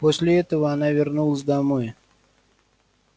после этого она вернулась домой